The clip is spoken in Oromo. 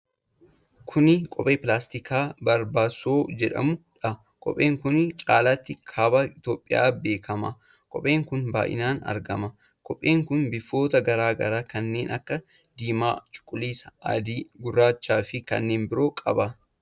Kuni Kophee pilaastikaa barabaasoo jedhamuudha. Kopheen kun caalaatti Kaaba Itoophiyaatti beekama. Kopheen kun baay'inaan argama. Kopheen kun bifoota garaa garaa kanneen akka diimaa, cuquliisa, adii, gurraacha fi kannneen biroo qaba.